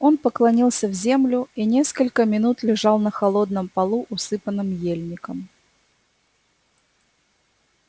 он поклонился в землю и несколько минут лежал на холодном полу усыпанном ельником